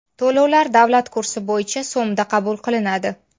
To‘lovlar davlat kursi bo‘yicha so‘mda qabul qilinadi.